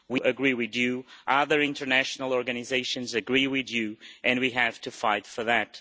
We agree with you, other international organisations agree with you, and we have to fight for that.